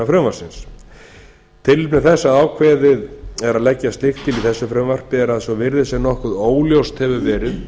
frumvarpsins tilefni þess að ákveðið er að leggja slíkt til í þessu frumvarpi er að svo virðist sem nokkuð óljóst hefur verið